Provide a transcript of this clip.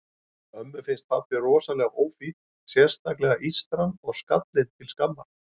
Ömmu finnst pabbi rosalega ófínn, sérstaklega ístran og skallinn til skammar.